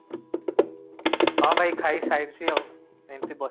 ହଁ ଭାଇ ଖାଇ ସାରିଛି ଆଉ ଏମିତି ବ